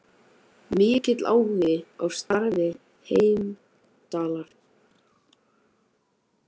Mikill áhugi á starfi Heimdallar